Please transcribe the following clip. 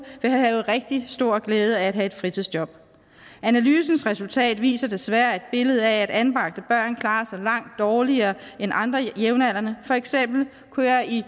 vil have rigtig stor glæde af at have et fritidsjob analysens resultat viser desværre et billede af at anbragte børn klarer sig langt dårligere end andre jævnaldrende for eksempel kunne jeg i